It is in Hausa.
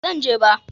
ba Zan je ba